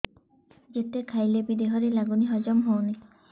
ଯେତେ ଖାଇଲେ ବି ଦେହରେ ଲାଗୁନି ହଜମ ହଉନି